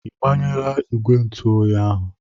Ị gbanyela ìgwè ntụ oyi ahụ?